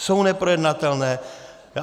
Jsou neprojednatelné.